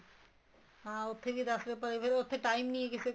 ਹਾਂ ਉੱਥੇ ਵੀ ਦੱਸ ਰੁਪਏ ਪਰਚੀ ਫ਼ੇਰ ਉੱਥੇ time ਨਹੀਂ ਹੈ ਕਿਸੇ ਕੋਲ